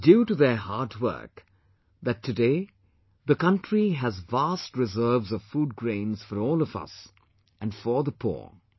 It is due to their hard work, that today the country has vast reserves of food grains for all of us and for the poor